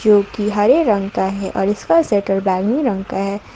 जो की हरे रंग का है और इसका शटर बैंगनी रंग का है।